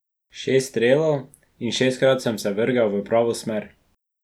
Šest strelov in šestkrat sem se vrgel v pravo smer.